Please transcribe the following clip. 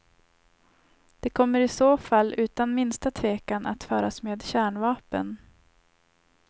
Det kommer i så fall utan minsta tvekan att föras med kärnvapen.